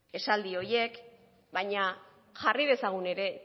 esaldi horiek baina jarri dezagun ere